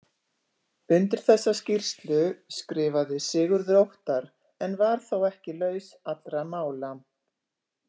Undir þessa skýrslu skrifaði Sigurður Óttar en var þó ekki laus allra mála.